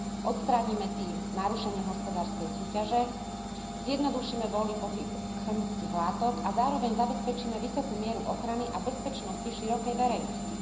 Odstránime tým narušenie hospodárskej súťaže, zjednodušíme voľný pohyb chemických látok a zároveň zabezpečíme vysokú mieru ochrany a bezpečnosti širokej verejnosti.